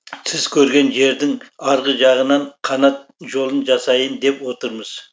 сіз көрген жердің арғы жағынан канат жолын жасайын деп отырмыз